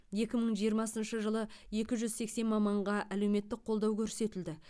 екі мың жиырмасыншы жылы екі жүз сексен маманға әлеуметтік қолдау көрсетілді